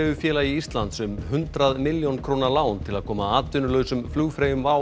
Flugfreyjufélagi Íslands um hundrað milljón króna lán til að koma atvinnulausum flugfreyjum WOW